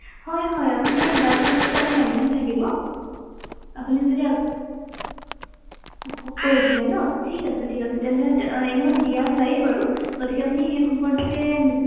হয় হয় আপোনাৰ blood group টো তাতে mention থাকিব আপুনি যদি কৈ দিছিলে ন ঠিক আছে ঠিক আছে তেন্তে এনেও দিয়া যায়েই বাৰু গতিকে আপুনি সেই সম্পৰ্কে